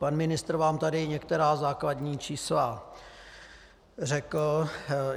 Pan ministr vám tady některá základní čísla řekl.